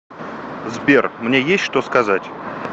сбер мне есть что сказать